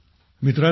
मित्रांनो